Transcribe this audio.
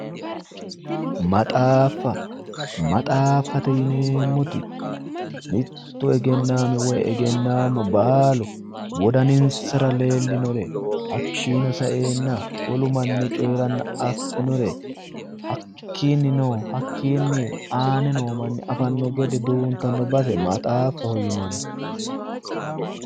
Maxaaffa, maxaafdate yinneemmoti mitu egennami woyi egennamu baalu wodaninsara leelinore hakkino saenna wolu manni coyira affinore hakkinino aane noo manni affano gede duuntano base maxaafaho yinnanni